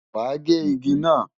Wàá gé igi náà!